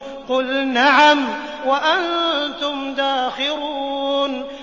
قُلْ نَعَمْ وَأَنتُمْ دَاخِرُونَ